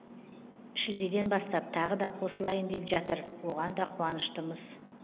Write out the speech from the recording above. шілдеден бастап тағы да қосылайын деп жатыр оған да қуаныштымыз